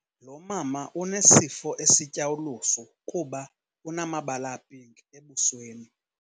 Lo mama unesifo esitya ulusu kuba unamabala apinki abusweni.